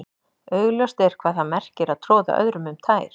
augljóst er hvað það merkir að troða öðrum um tær